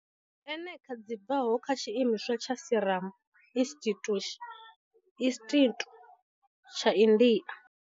Ene a kha dzi bvaho kha tshiimiswa tsha Serum Institute institu tsha India.